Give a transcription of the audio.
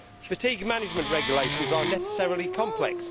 Fatigue management regulations are necessarily complex.